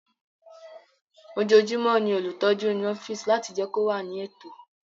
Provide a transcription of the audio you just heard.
Ojoojúmọ́ ni olùtọ́jú ń nu ọ́fíìsì láti jẹ́ kí ó wà ní ètò